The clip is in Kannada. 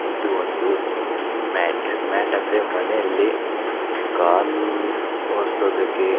ಇದು ಒಂದು ಮ್ಯಾಟ್ . ಮ್ಯಾಟ್ ಅಂದ್ರೆ ಮನೆಯಲ್ಲಿ ಕಾಲು ಒರಿಸೋದಕ್ಕೆ--